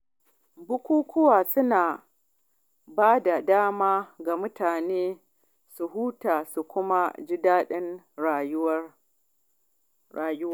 Bukukuwa suna bada dama ga mutane su huta su kuma ji daɗin rayuwa.